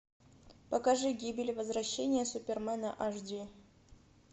покажи гибель и возвращение супермена аш ди